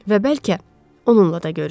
Və bəlkə, onunla da görüşdü.